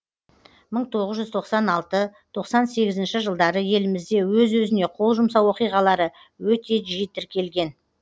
мың тоғыз жүз тоқсан алты тоқсан сегізінші жылдары елімізде өз өзіне қол жұмсау оқиғалары өте жиі тіркелген